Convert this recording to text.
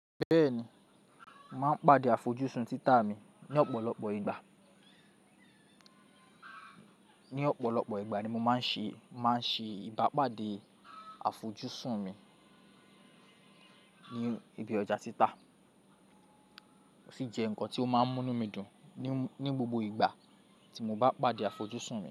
Bẹ́ẹ̀ni, màá ń pàdé àfojúsùn títà mi ní ọ̀pọ̀lọpọ̀ ìgbà. Ní ọ̀pọ̀lọpọ̀ ìgbà ni mo máa ń ṣe, màá ń ṣe ìbápàdé àfojúsùn mi ní ibi ọjà títà ó sì jẹ́ nǹkan tí ó máa ń mú mí dùn ní, ní gbogbo ìgbà tí mo bá pàdé àfojúsùn mi.